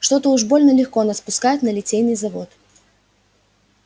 что-то уж больно легко нас пускают на литейный завод